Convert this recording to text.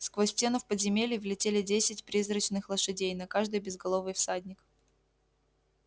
сквозь стену в подземелье влетели десять призрачных лошадей на каждой безголовый всадник